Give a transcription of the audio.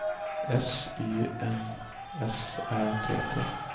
S Y N S Ä T T